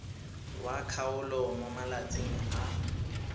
wa kgaolo mo malatsing a